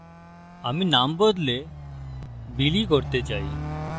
আমি name বদলে billy করতে চাই